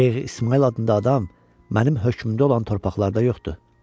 Şeyx İsmayıl adında adam mənim hökmümdə olan torpaqlarda yoxdur.